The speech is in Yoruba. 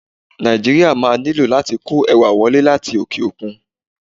Nàìjíríà máa nílò láti kó ẹ̀wà wọlé láti òkè-òkun.